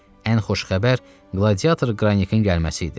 Ən xoş xəbər qladiyator Qranikin gəlməsi idi.